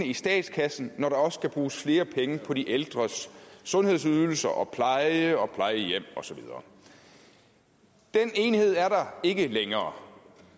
i statskassen når der også skulle bruges flere penge på de ældres sundhedsydelser og pleje og plejehjem og så videre den enighed er der ikke længere